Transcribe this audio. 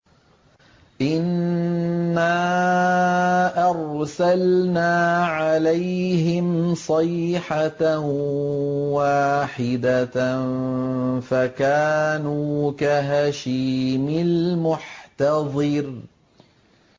إِنَّا أَرْسَلْنَا عَلَيْهِمْ صَيْحَةً وَاحِدَةً فَكَانُوا كَهَشِيمِ الْمُحْتَظِرِ